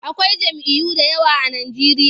Akwai jam'iyyu da yawa a Najeriya.